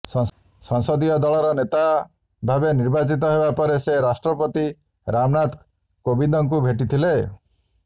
ସଂସଦୀୟ ଦଳର ନେତା ଭାବେ ନିର୍ବାଚିତ ହେବା ପରେ ସେ ରାଷ୍ଯ୍ରପତି ରାମନାଥ କୋବିନ୍ଦଙ୍କୁ ଭେଟିଥିଲେ